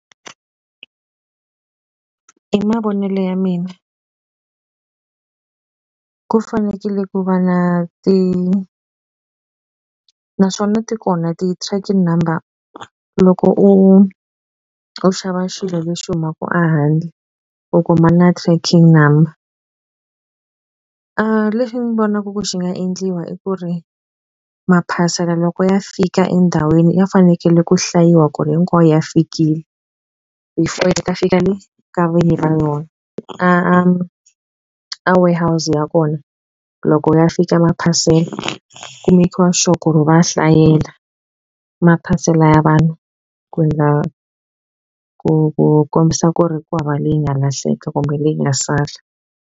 I mavonelo ya mina ku fanekele ku va na naswona ti kona ti-tracking number loko u u xava xilo lexi humaka a handle u kuma na tracking number lexi ni vonaku ku xi nga endliwa i ku ri maphasela loko ya fika endhawini ya fanekele ku hlayiwa ku ri hinkwawo ya fikile before fika le ka vinyi va yona a a warehouse ya kona loko ya fika maphasela ku mekiwa sure ku ri va ya hlayela maphasela ya vanhu ku za ku ku ku kombisa ku ri ku hava leyi nga lahleka kumbe leyi nga sala.